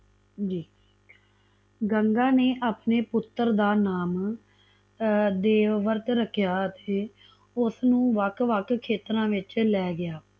ਜੀ ਗੰਗਾ ਨੇ ਆਪਣਾ ਪੁੱਤਰ ਦਾ ਨਾਮ ਦੇਵਵਰਤ ਰਖਿਆ ਅਤੇ ਉਸਨੂੰ ਵਖ ਵਖ ਖੇਤਰਾਂ ਵਿੱਚ ਲੈ ਗਿਆ